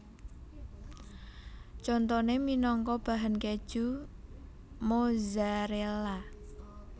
Contoné minangka bahan kèju Mozzarella